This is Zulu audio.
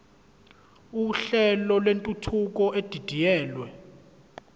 uhlelo lwentuthuko edidiyelwe